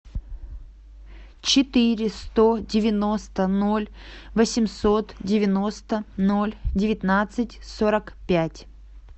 четыре сто девяносто ноль восемьсот девяносто ноль девятнадцать сорок пять